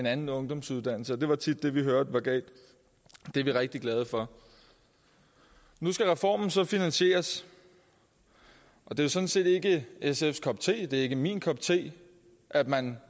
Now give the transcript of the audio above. anden ungdomsuddannelse det var tit det vi hørte var galt det er vi rigtig glade for nu skal reformen så finansieres og det er sådan set ikke sfs kop te det er ikke min kop te at man